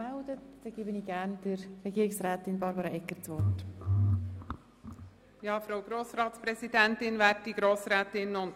Somit erteile ich gerne Regierungsrätin Barbara Egger das Wort. .